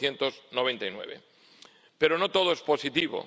1999. Pero no todo es positivo.